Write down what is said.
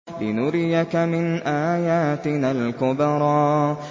لِنُرِيَكَ مِنْ آيَاتِنَا الْكُبْرَى